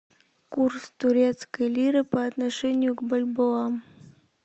курс турецкой лиры по отношению к бальбоа